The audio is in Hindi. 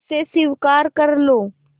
उसे स्वीकार कर लो